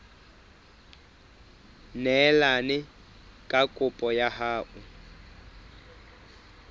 neelane ka kopo ya hao